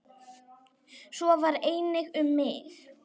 Svo var einnig um mig.